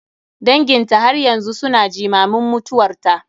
Danginta har yanzu su na jimamin mutuwarta.